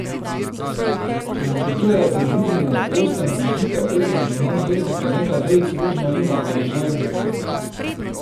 Če načrtujete druženje na prostem, prižgite ogenj in nanj vrzite nekaj vejic rožmarina ali žajblja.